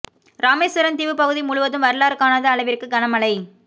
இராமேஸ்வரம் தீவு பகுதி முழுதும் வரலாறு காணாத அளவிற்கு கன மழை